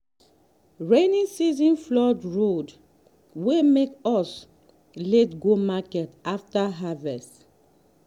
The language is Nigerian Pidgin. rainy season dey flood road wey make us late go market after harvest.